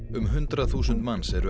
um hundrað þúsund manns eru